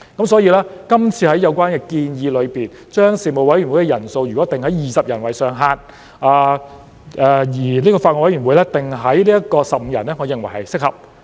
所以，今次有關建議將事務委員會人數上限訂定為20人，而法案委員會訂定為15人，我認為是合適的。